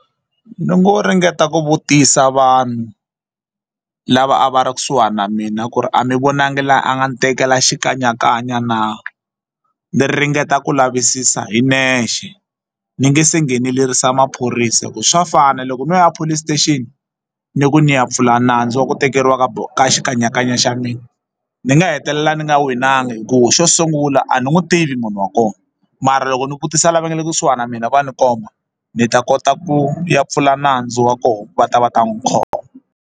Ni ngo ringeta ku vutisa vanhu lava a va ri kusuhani na mina ku ri a mi vonangi la a nga ni tekela xikanyakanya na ni ringeta ku lavisisa hi nexe ni nge se nghenelerisa maphorisa hi ku swa fana loko no ya police station ni ku ni ya pfula nandzu wa ku tekeriwa ka ka xikanyakanya xa mina ni nga hetelela ndzi nga winanga hikuva xo sungula a ni n'wi tivi munhu wa kona mara loko ni vutisa lava nga le kusuhana na mina va ni komba ni ta kota ku ya pfula nandzu wa kona va ta va ta n'wi khoma.